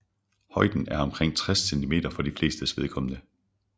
Højden er omkring 60 cm for de flestes vedkommende